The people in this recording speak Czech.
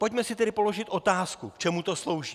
Pojďme si tedy položit otázku, k čemu to slouží.